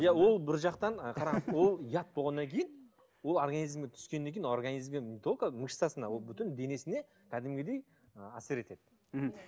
иә ол бір жақтан ол яд болғаннан кейін ол организмге түскеннен кейін ол организмге не только мышцасына ол бүтін денесіне кәдімгідей ы әсер етеді мхм